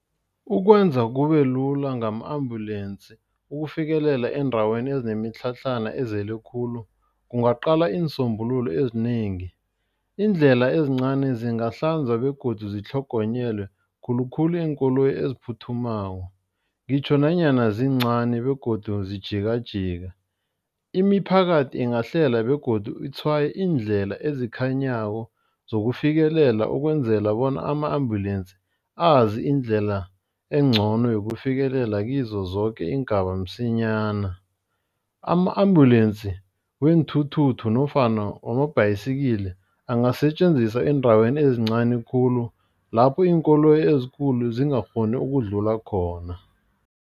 Ukwenza kube lula ngama-Ambulence ukufikelela eendaweni ezinemitlhatlhana ezele khulu kungaqalwa iinsombululo ezinengi. Iindlela ezincani zingahlanza begodu zitlhogonyelwe khulukhulu iinkoloyi eziphuthumako ngitjho nanyana zincani begodu zijikajika. Imiphakathi ingahlela begodu itshwaye iindlela ezikhanyako zokufikelela ukwenzela bona ama-Ambulence azi indlela engcono yokufikelela kizo zoke iingaba msinyana. Ama-Ambulence weenthuthuthu nofana wamabhayisikili angasetjenziswa endaweni ezincani khulu lapho iinkoloyi ezikulu zingakghoni ukudlula khona.